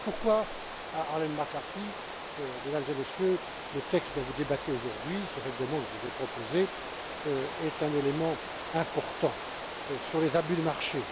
Voilà pourquoi, Mme McCarthy, Mesdames et Messieurs, le texte dont vous débattez aujourd'hui, ce règlement que je vous ai proposé, est un élément important sur les abus de marché.